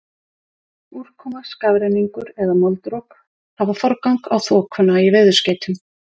Úrkoma, skafrenningur eða moldrok hafa forgang á þokuna í veðurskeytum.